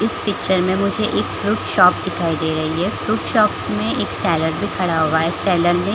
इस पिक्चर में मुझे एक फ्रूट शॉप दिखाई दे रही है फ्रूट शॉप में एक सेलर भी खड़ा हुआ है सेलर ने--